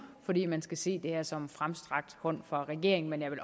fordi man skal se det her som en fremstrakt hånd fra regeringen men jeg vil